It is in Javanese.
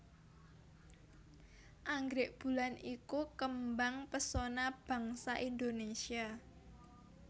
Anggrèk bulan iku kembang pesona bangsa Indonésia